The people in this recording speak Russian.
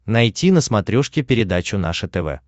найти на смотрешке передачу наше тв